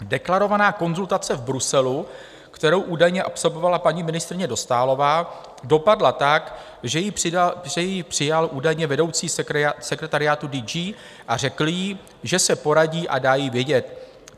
Deklarovaná konzultace v Bruselu, kterou údajně absolvovala paní ministryně Dostálová, dopadla tak, že ji přijal údajně vedoucí sekretariátu DG a řekl jí, že se poradí a dá jí vědět.